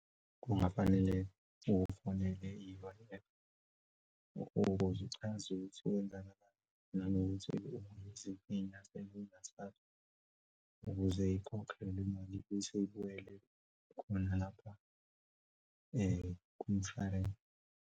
Kungafanele ufonele iy'lwane ukuze uchaza ukuthi kwenzakalani nanokuthi unezinkinga ezingaka ukuze ikhokhwe lemali usubuyele khona lapha kumshwalense.